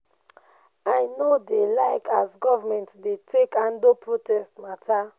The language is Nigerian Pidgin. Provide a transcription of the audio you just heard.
i no dey like as government dey take handle protest mata.